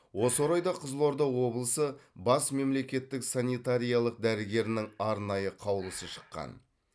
осы орайда қызылорда облысы бас мемлекеттік санитариялық дәрігерінің арнайы қаулысы шыққан